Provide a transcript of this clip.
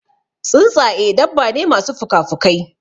Tsuntsaƴe dabba ne masu pukapukai.